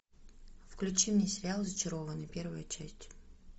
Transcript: включи мне сериал зачарованные первая часть